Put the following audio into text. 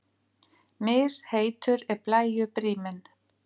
Misheitur er blæju bríminn.